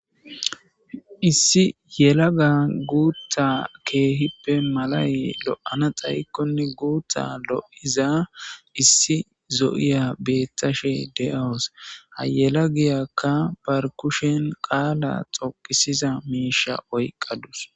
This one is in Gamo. Issi yela ga guutta keehippe malay lo'ana xaykkonne guutta lo'iza issi zo'iya beettashe de'awus hayela giyakka bar kushen qaala xoqisiza miisha oyqqadus.